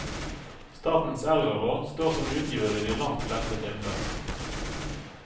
Statens eldreråd står som utgiver i de langt fleste tilfeller.